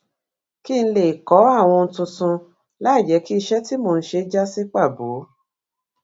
kí n lè kó àwọn ohun tuntun láìjé kí iṣé tí mò ń ṣe já sí pàbo